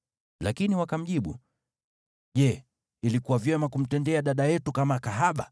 Lakini wakamjibu, “Je, ilikuwa vyema kumtendea dada yetu kama kahaba?”